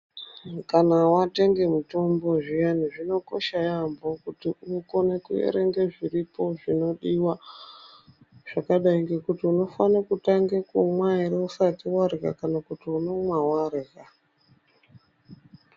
Kana watenge mutombo zviyani zvinokosha yeyamho kuti ukone kuerenge zviripo zvinodiwa zvakadai ngekuti unofane kutange kumwa ere usati warya kana kuti unomwa warya.